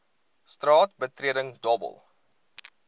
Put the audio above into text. straat betreding dobbel